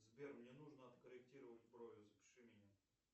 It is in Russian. сбер мне нужно откорректировать брови запиши меня